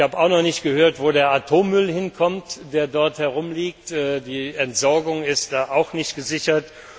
Ich habe auch noch nicht gehört, wo der Atommüll hinkommt, der dort herumliegt, die Entsorgung ist auch nicht gesichert.